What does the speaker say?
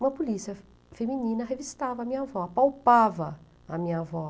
Uma polícia feminina revistava a minha avó, apalpava a minha avó.